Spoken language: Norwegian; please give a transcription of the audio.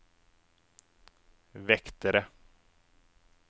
vektere